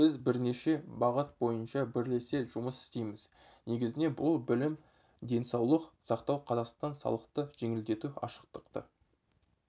біз бірнеше бағыт бойынша бірлесе жұмыс істейміз негізінен бұл білім денсаулық сақтау қазақстан салықты жеңілдету ашықтықты